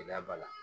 Gɛlɛya b'a la